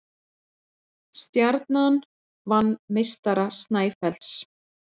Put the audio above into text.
Stjarnan vann meistara Snæfells